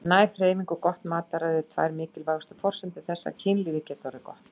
Næg hreyfing og gott mataræði eru tvær mikilvægustu forsendur þess að kynlífið geti orðið gott.